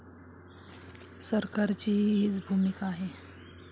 सरकारचीही हीच भूमिका आहे.